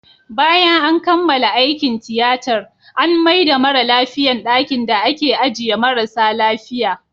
Bayan an kammala aikin tiyatar, an maida mara lafiyan dakin da ake ajiye marasa lafia